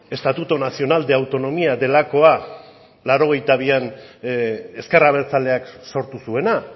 estatuto nacional de autonomía delakoa laurogeita bian ezker abertzaleak sortu zuena